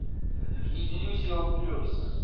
иллюзион плюс